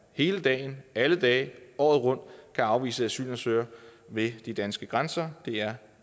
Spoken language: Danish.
hele dagen alle dage året rundt kan afvise asylansøgere ved de danske grænser det er